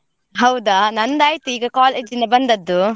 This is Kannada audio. ಹೌದಾ! ನಂದಾಯ್ತು ಈಗ college ನಿಂದ ಬಂದದ್ದು.